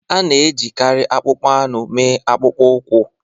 A na-ejikarị akpụkpọ anụ mee akpụkpọ ụkwụ.